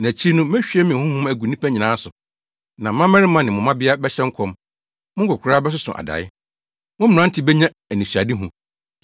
“Na akyiri no, mehwie me honhom agu nnipa nyinaa so, mo mmabarima ne mo mmabea bɛhyɛ nkɔm, mo nkwakoraa bɛsoso adae, mo mmerante benya anisoadehu.